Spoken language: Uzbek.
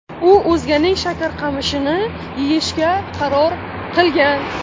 U o‘zganing shakarqamishini yeyishga qaror qilgan.